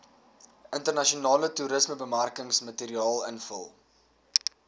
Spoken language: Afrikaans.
internasionale toerismebemarkingsmateriaal invul